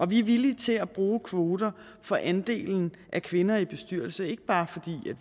vi er villige til at bruge kvoter for andelen af kvinder i bestyrelser ikke bare fordi